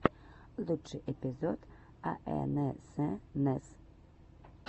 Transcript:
лучший эпизод аэнэсэнэс